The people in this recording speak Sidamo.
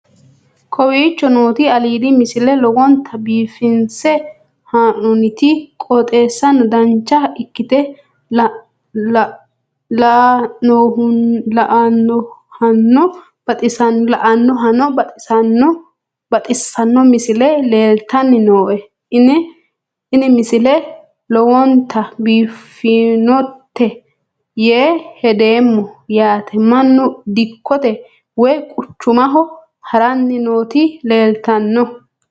kowicho nooti aliidi misile lowonta biifinse haa'noonniti qooxeessano dancha ikkite la'annohano baxissanno misile leeltanni nooe ini misile lowonta biifffinnote yee hedeemmo yaate mannu dikkote woy quchumaho haranni nooti leeltanno